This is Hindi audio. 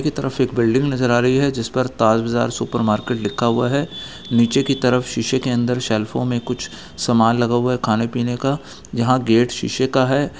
नीचे की तरफ एक बिल्डिंग नजर आ रही है जिस पर ताज बाजार सुपरमार्केट लिखा हुआ है नीचे की तरफ शीशे के अंदर शेल्फों में कुछ समान लगा हुआ है खाने पीने का यहाँ गेट शीशे का है।